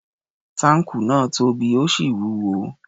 Táǹkù náà tóbi, ó sì wúwo.